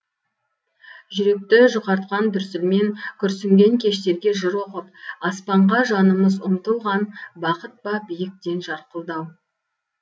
жүректі жұқартқан дүрсілмен күрсінген кештерге жыр оқып аспанға жанымыз ұмтылған бақыт па биіктен жарқылдау